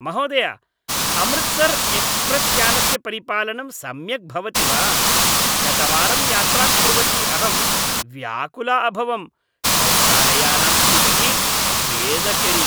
महोदय, अमृतसर् एक्स्प्रेस्यानस्य परिपालनं सम्यक् भवति वा, गतवारं यात्रां कुर्वती अहं व्याकुला अभवम्, शौचालयानां स्थितिः खेदकरी।